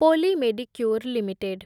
ପୋଲି Medicure limited